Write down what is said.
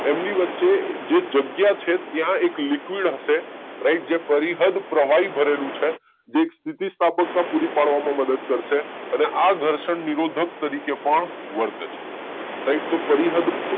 એમની વચ્ચે જે જગ્યા છે ત્યાં એક લીક્વીડ હશે રાઈટ જે પરીહદ પ્રવાહી ભરેલું છે જે સ્થિતિ સ્થાપકતા પૂરી પાડવામાં મદદ કરશે અને આ ઘર્ષણ નિરોધક તરીકે પણ વર્તે છે રાઈટ તો પરીહદ